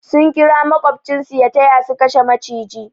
Sun kira makobcin su ya taya su kashe maciji.